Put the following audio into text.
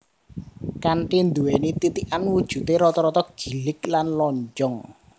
Kanthi nduwéni titikan wujudé rata rata gilig lan lonjong